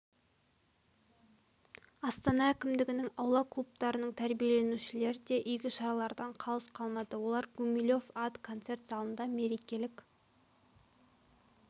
астана әкімдігінің аула клубтарының тәрбиеленушілері де игі шаралардан қалыс қалмады олар гумилев ат концерт залында мерекелік